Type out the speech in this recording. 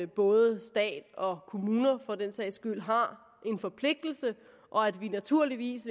både stat og kommuner for den sags skyld har en forpligtelse og at vi naturligvis